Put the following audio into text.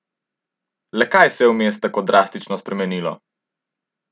Le kaj se je vmes tako drastično spremenilo?